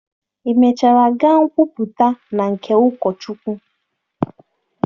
Ị mechara gaa kwupụta na nke ụkọchukwu?